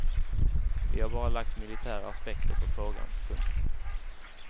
Vi har bara lagt militära aspekter på frågan. punkt